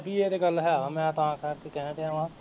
ਇਹ ਤੇ ਗੱਲ ਹੈ ਮੈਂ ਤਾਂ ਕਰਕੇ ਕਹਿ ਰਿਹਾ ਵਾਂ